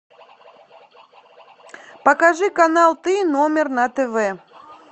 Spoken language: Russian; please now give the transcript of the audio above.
покажи канал ты номер на тв